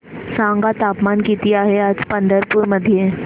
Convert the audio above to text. सांगा तापमान किती आहे आज पंढरपूर मध्ये